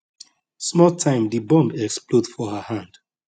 small time di bomb explode for her hand